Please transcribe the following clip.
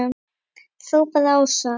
hrópaði Ása.